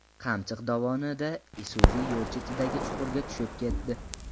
Qamchiq dovonida Isuzu yo‘l chetidagi chuqurga tushib ketdi.